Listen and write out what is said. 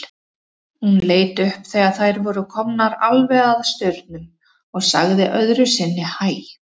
Hún leit upp þegar þær voru komnar alveg að staurnum og sagði öðru sinni hæ.